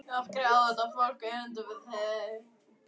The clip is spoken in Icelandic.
Af hverju á þetta fólk erindi við þig?